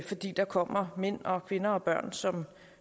fordi der kommer mænd kvinder og børn som